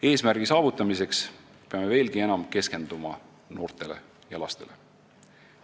Eesmärgi saavutamiseks peame veelgi enam keskenduma noortele ja lastele.